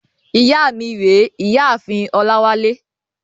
Ìyá mi rèé, ìyá ààfin Ọláwálé.